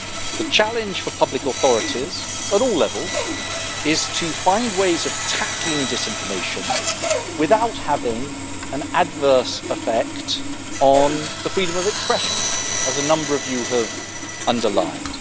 The challenge for public authorities at all levels is to find ways of tackling disinformation without having an adverse effect on freedom of expression, as a number of you have underlined.